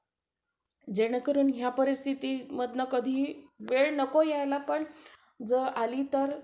अह बघा recording होणं. तो वेगला part झाला. आपण जर